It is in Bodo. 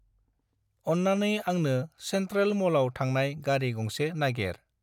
अन्नानै आंनो चेन्ट्रेल मलाव थांनाय गारि गंसे नागेर।